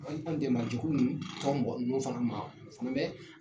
n'o fana ma o fana bɛ